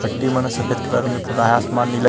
पट्टी मन ह सफेद कलर पोता हे आसमान नीला--